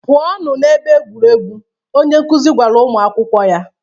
"Pụọnụ n'ebe egwuregwu," onye nkuzi gwara ụmụ akwụkwọ ya.